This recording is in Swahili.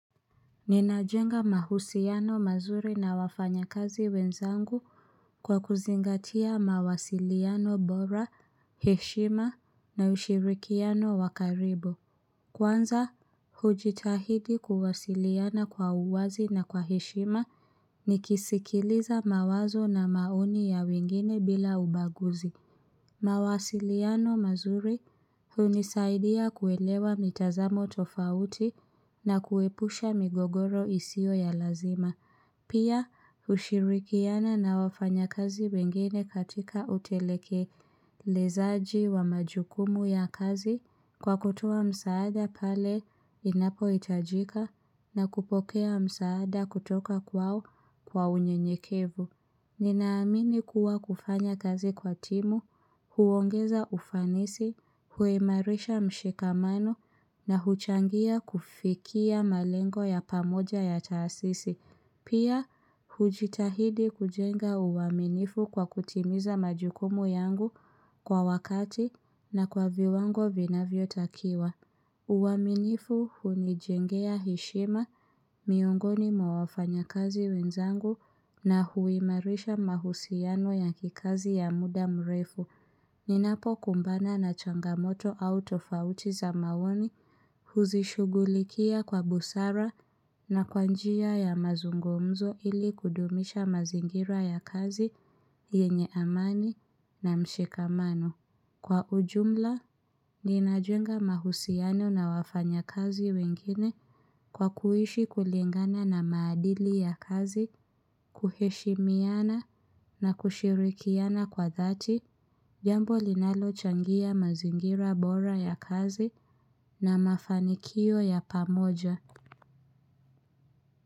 Ninajenga mahusiano mazuri na wafanyakazi wenzangu kwa kuzingatia mawasiliano bora, heshima na ushirikiano wakaribu. Kwanza, hujitahidi kuwasiliana kwa uwazi na kwa heshima nikisikiliza mawazo na maoni ya wengine bila ubaguzi. Mawasiliano mazuri hunisaidia kuelewa mitazamo tofauti na kuepusha migogoro isiyo ya lazima. Pia kushirikiana na wafanyakazi wengine katika utekelezaji wa majukumu ya kazi kwa kutoa msaada pale inapohitajika na kupokea msaada kutoka kwao kwa unyenyekevu. Ninaamini kuwa kufanya kazi kwa timu, huongeza ufanisi, huimarisha mshikamano na huchangia kufikia malengo ya pamoja ya taasisi. Pia, hujitahidi kujenga uwaminifu kwa kutimiza majukumu yangu kwa wakati na kwa viwango vinavyo takiwa. Uwaminifu hunijengea heshima miongoni mwa wafanyakazi wenzangu na huimarisha mahusiano ya kikazi ya muda mrefu. Ninapo kumbana na changamoto au tofauti za maoni huzishughulikia kwa busara na kwa njia ya mazungumzo ili kudumisha mazingira ya kazi yenye amani na mshikamano. Kwa ujumla, ninajenga mahusiano na wafanya kazi wengine kwa kuishi kulingana na maadili ya kazi, kuheshimiana na kushirikiana kwa dhati, jambo linalochangia mazingira bora ya kazi na mafanikio ya pamoja.